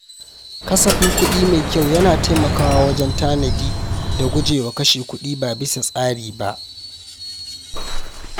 Kasafin kuɗi mai kyau yana taimakawa wajen tanadi da guje wa kashe kuɗi ba bisa tsari ba.